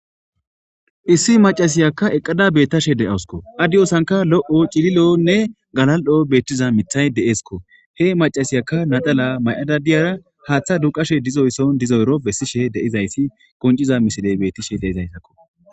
issi macasiyakka eqqada beettashe de7awsko addiyosanka lo7o cililonne galal7o beettiza mithay de7eskko he macasiyaka nadala may7ada diyara haaththa duqashe dizoysson dizoyro bessishe deizayssi qonciza misiley bettishe deizaytakko